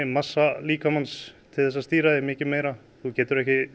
massa líkamans til að stýra því mikið meira þú getur ekki